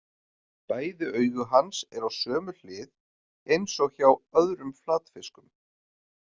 Bæði augu hans eru á sömu hlið eins og hjá öðrum flatfiskum.